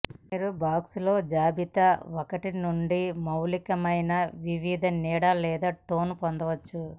మీరు బాక్స్ లో జాబితా ఒకటి నుండి మౌలికమైన వివిధ నీడ లేదా టోన్ పొందవచ్చు